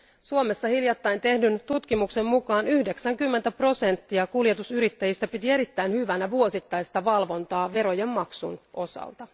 Suomessa hiljattain tehdyn tutkimuksen mukaan 90 prosenttia kuljetusyrittäjistä piti erittäin hyvänä vuosittaista valvontaa verojen maksun osalta.